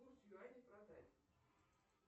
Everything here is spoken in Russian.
курс юаней продать